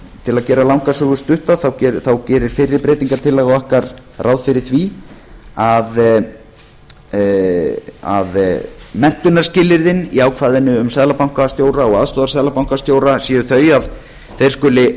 til að gera langa sögu stutta gerir fyrri breytingartillaga okkar ráð fyrir því að menntunarskilyrðin í ákvæðinu um seðlabankastjóra og aðstoðarseðlabankastjóra séu þau að þeir skuli